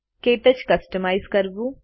ક્ટચ કસ્તમાઈઝ કરવું